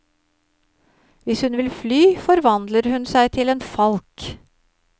Hvis hun vil fly, forvandler hun seg til en falk.